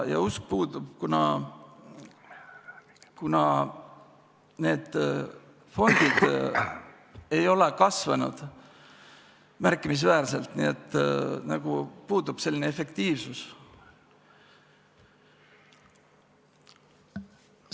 Ja usk puudub, kuna need fondid ei ole märkimisväärselt kasvanud, efektiivsus puudub.